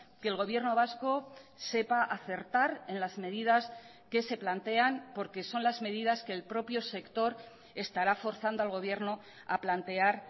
que el gobierno vasco sepa acertar en las medidas que se plantean porque son las medidas que el propio sector estará forzando al gobierno a plantear